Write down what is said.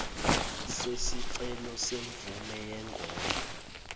sesicelo semvume yengodla